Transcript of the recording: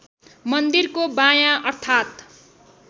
मन्दिरको बायाँ अर्थात्